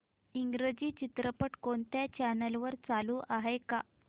इंग्रजी चित्रपट कोणत्या चॅनल वर चालू आहे का